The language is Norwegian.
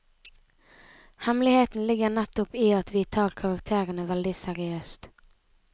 Hemmeligheten ligger nettopp i at vi tar karakterene veldig seriøst.